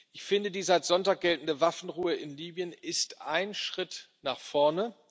Ich finde, die seit Sonntag geltende Waffenruhe in Libyen ist ein Schritt nach vorne.